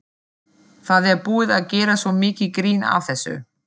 Það er búið að gera svo mikið grín að þessu.